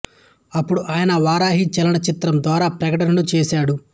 అప్పుడు ఆయన వారాహి చలన చిత్రం ద్వారా ప్రకటనను చూశాడు